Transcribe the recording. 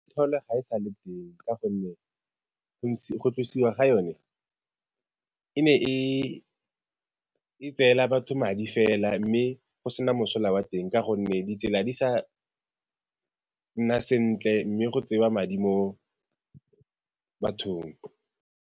Gone ga e sa le teng ka gonne go tlosiwa ga yone e ne e tseela batho madi fela mme go se na mosola wa teng ka gonne ditsela di sa nna sentle mme go tsewa madi mo bathong.